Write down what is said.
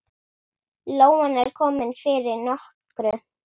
Lóan er komin fyrir nokkru.